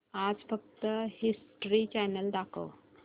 आज फक्त history channel दाखव